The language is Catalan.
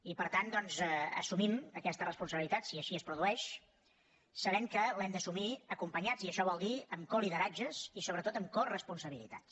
i per tant doncs assumim aquesta responsabilitat si així es produeix sabent que l’hem d’assumir acompanyats i això vol dir amb colideratges i sobretot amb coresponsabilitats